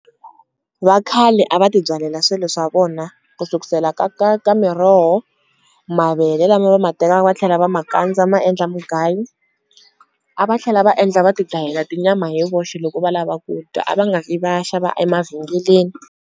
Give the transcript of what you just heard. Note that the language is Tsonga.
Vakhale a va tibyalela swilo swa vona ku sukusela ka miroho, mavele lama va ma tekaka va tlhela va ma kandza ma endla mugayo, a va tlhela va endla va ti dlayela tinyama hi voxe loko va lava ku dya a va nga vhi va ya xava emavhengeleni.